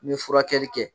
N bɛ furakɛli kɛ